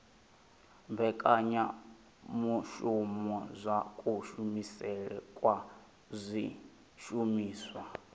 mbekanyamushumo dza kushumisele kwa zwishumiswa